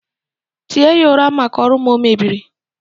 tie ya ụra maka ọrụ m o mebieri